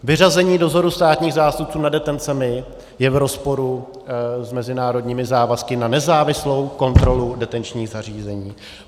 Vyřazení dozoru státních zástupců nad detencemi je v rozporu s mezinárodními závazky na nezávislou kontrolu detenčních zařízení.